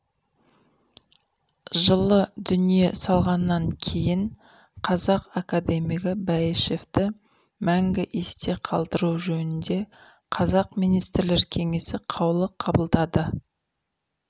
жылы дүние салғаннан кейін қазақ академигі бәйішевті мәңгі есте қалдыру жөнінде қазақ министрлер кеңесі қаулы қабылдады